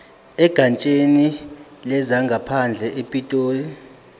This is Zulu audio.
egatsheni lezangaphandle epitoli